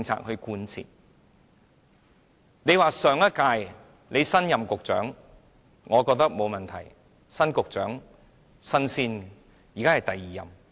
如果你是新任局長，我覺得沒有問題，新局長，"新鮮人"。